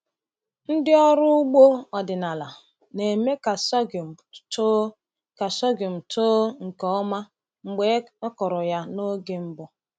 Ndị ọrụ ugbo ọdịnala na-eme ka sorghum too ka sorghum too nke ọma mgbe e kụrụ ya n’oge mbụ.